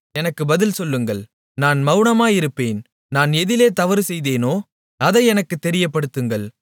எனக்கு பதில் சொல்லுங்கள் நான் மவுனமாயிருப்பேன் நான் எதிலே தவறுசெய்தேனோ அதை எனக்குத் தெரியப்படுத்துங்கள்